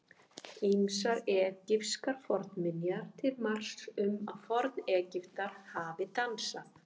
Ýmsar egypskar fornminjar eru til marks um að Forn-Egyptar hafi dansað.